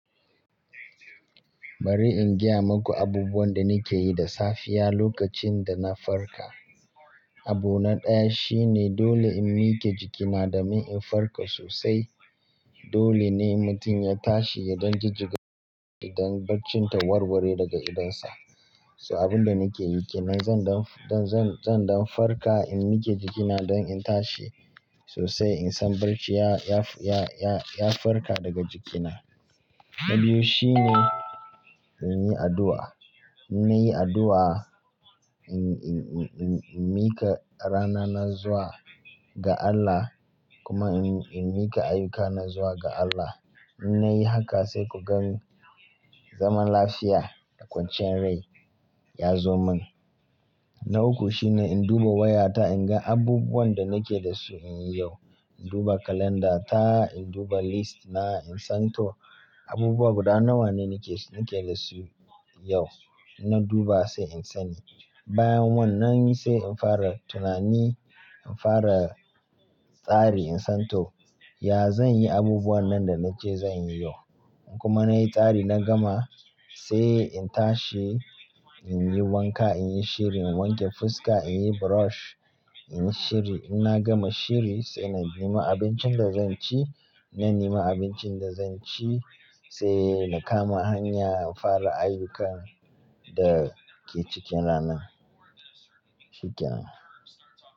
Bari in gaya maku abubuwan da nake yi da safiya lokacin da na farka. Abu na ɗaya shine dole in mike jikina domin in farka sosai, dole ne mutum ya tashi ya don jijjiga, don barcin ta warware daga idonsa. So abin da nake yi ke nan zan don, zan, zan don farka in mike jikina don in tashi sosai in san barci ya, ya, ya, ya, ya farka daga jikina. Na biyu shine in yi addu'a. In na yi addu'a, in, in, in, in, in mike rana na zuwa ga Allah kuma in, in mike ayuka na zuwa ga Allah. In na yi haka sai ku gan zaman lafiya da kwanciyar rai ya zo min. Na uku shine in duba wayata in ga abubuwan da nake da su in yi yau. In duba kalanda ta, in duba list na, in san to abubuwa guda nawa ne nake, nake da su yau. Na duba sai in sani. Bayan wannan sai in fara tunani, in fara tsari in san to, ya zan yi abubuwan nan da na ce zan yi yau? Kuma na yi tsari na gama sai in tashi, in yi wanka, in yi shiri, in wanke fuska, in yi brush, in yi shiri. In na gama shiri sai na nema abincin da zan ci. Na nema abincin da zan ci sai na kama hanya in fara ayyukan da ke cikin rana. Shikenan.